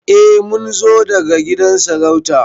Eh Mun zo daga gidan sarauta.